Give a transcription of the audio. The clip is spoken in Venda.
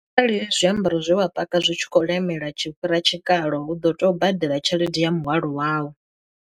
Kharali zwiambaro zwe wa paka zwi tshi khou lemela tshi fhira tshikalo hu ḓo tea u badela tshelede ya muhwalo wau.